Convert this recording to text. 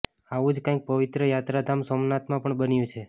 આવું જ કંઈક પવિત્ર યાત્રાધામ સોમનાથમાં પણ બન્યું છે